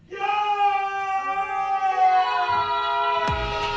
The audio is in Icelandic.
já